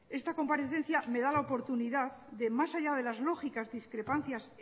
esta comparecencia me da la oportunidad de más allá de las lógicas discrepancias